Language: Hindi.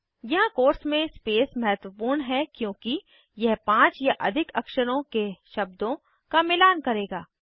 यहाँ कोट्स में स्पेस महत्वपूर्ण है क्योंकि यह 5 या अधिक अक्षरों के शब्दों का मिलान करेगा